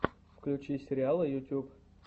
включи сериалы ютюб